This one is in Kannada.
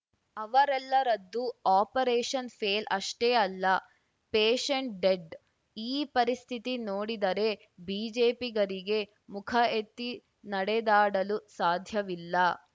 ಅವರೆಲ್ಲರದ್ದು ಆಪರೇಶನ್‌ ಫೇಲ್‌ ಅಷ್ಟೇ ಅಲ್ಲ ಪೇಶೆಂಟ್‌ ಡೆಡ್‌ ಈ ಪರಿಸ್ಥಿತಿ ನೋಡಿದರೆ ಬಿಜೆಪಿಗರಿಗೆ ಮುಖ ಎತ್ತಿ ನಡೆದಾಡಲು ಸಾಧ್ಯವಿಲ್ಲ